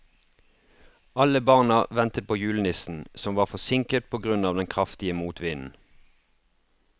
Alle barna ventet på julenissen, som var forsinket på grunn av den kraftige motvinden.